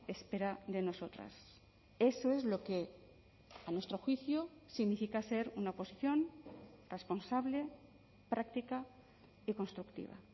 espera de nosotras eso es lo que a nuestro juicio significa ser una oposición responsable práctica y constructiva